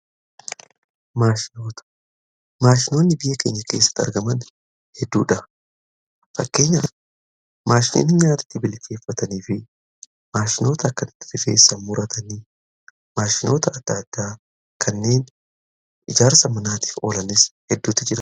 Maashinoonni biyya kenya keessatti argaman heedduudha. Isaan keessaa muraasni maashinoota nyaata ittiin bilcheeffatanii fi maashinoota adda addaa kanneen ijaarsa manaatiif oolanis hedduutu jaru.